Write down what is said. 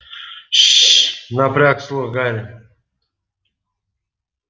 ш-ш-ш напряг слух гарри